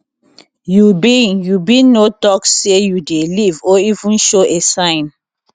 you bin you bin no tok say you dey leave or even show a sign